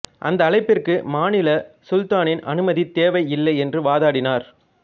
அந்த அழைப்பிற்கு மாநில சுல்தானின் அனுமதி தேவை இல்லை என்று வாதாடினார்